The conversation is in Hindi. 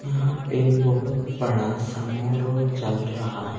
यहाँ पे बहुत बड़ा समारोह चल रहा है।